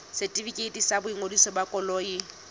setefikeiti sa boingodiso ba koloi